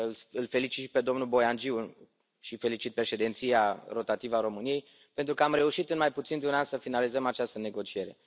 Îl felicit pe domnul Boiangiu și felicit președinția rotativă a României pentru că am reușit în mai puțin de un an să finalizăm această negociere.